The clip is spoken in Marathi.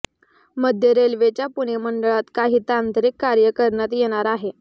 मध्य रेल्वेच्या पुणे मंडळात काही तांत्रिक कार्य करण्यात येणार आहे